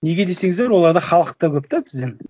неге десеңіздер оларда халық та көп та бізден